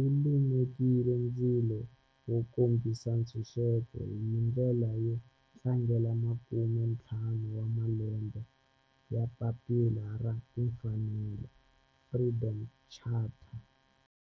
u lumekile ndzilo wo kombisa ntshuxeko, hi ndlela yo tlangela makumentlhanu wa malembe ya papila ra timfanelo, Freedom Charter.